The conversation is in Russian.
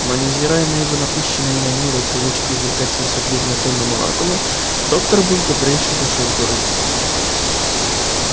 но невзирая на его напыщенные манеры и привычку изрекать свои суждения тоном оракула доктор был добрейшей душою в городе